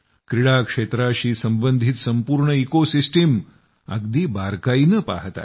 क्रीडा क्षेत्राशी संबंधित संपूर्ण इको सिस्टम अगदी बारकाईनं पहात आहे